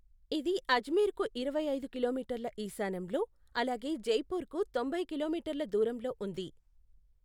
ఇది అజ్మీర్కు ఇరవై ఐదు కిలోమీటర్ల ఈశాన్యంలో అలాగే జైపూర్కు తొంభై కిలోమీటర్ల దూరంలో ఉంది.